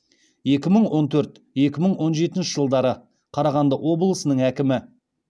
екі мың он төрт екі мың он жетінші жылдары қарағанды облысының әкімі